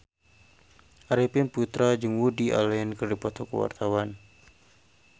Arifin Putra jeung Woody Allen keur dipoto ku wartawan